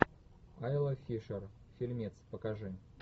айла фишер фильмец покажи